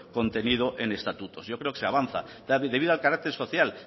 contenido en estatutos yo creo que se avanza debido al carácter social